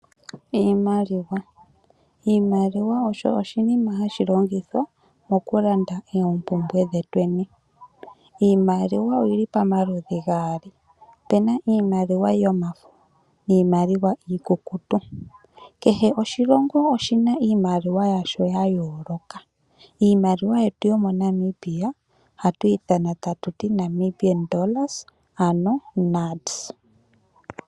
Iimaliwa osho oshinima hashi longithwa mokulanda oompumbwe dhetweni. Iimaliwa oyi li pamaludhi gaali. Opu na iimaliwa yomafo niimaliwa iikukutu. Kehe oshilongo oshi na iimaliwa yasho ya yooloka. Iimaliwa yetu yomoNamibia ohatu ithana tatu li Namibia dollars ano NAD.